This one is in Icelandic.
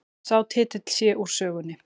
Sá titill sé úr sögunni